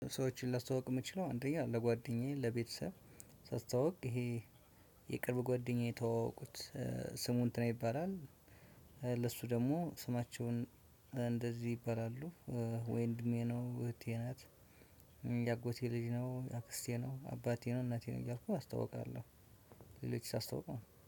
ሰዎችን ላስተዋውቅ የምችለው አንደኛ ለጓደኛዬ ለቤተሰብ ሳስተዋውቅ ይሄ የቅርብ ጓደኛ ተዋወቁት ስሙን እንትና ይባላል። ለሱ ደግሞ ስማቸውን እንደዚህ ይባላሉ። ወንድሜ ነው እህቴ ናት። የአጎቴ ልጅ ነው አክስቴ ነው አባቴ ነው እናቴ ነው እያልኩ አስታውቃለሁ። እቤት ሳስታዋውቅ ማለት ነው